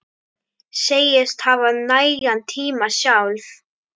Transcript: Segist hafa nægan tíma sjálf.